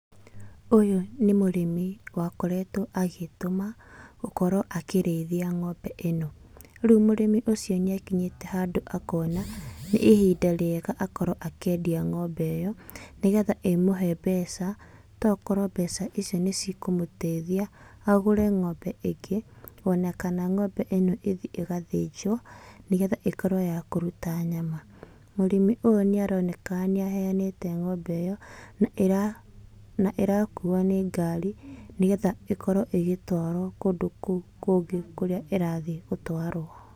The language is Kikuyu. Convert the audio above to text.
Ũyũ nĩ mũrĩmi wakoretwo agĩĩtũma gũkorwo akĩrĩithia ng'ombe ĩno, rĩu mũrĩmi ũcio nĩakinyĩte handũ akona nĩ ihinda rĩega akorwo akĩendia ng'ombe ĩyo nĩ getha ĩmũhe mbeca. Tokorwo mbeca icio nĩ cikũmũteithia agũre ng'ombe ĩngĩ, ona kana ng'ombe ĩno ĩthiĩ ĩgathĩnjwo nĩ getha ĩkorwo ya kũruta nyama. Mũrĩmi ũyũ nĩ aroneka nĩ aheyanĩte ng'ombe ĩyo na ĩrakuo nĩ ngari, nĩ getha ĩkorwo ĩgĩtwarwo kũndũ kũu kũngĩ kũrĩa ĩrathiĩ gũtwarwo.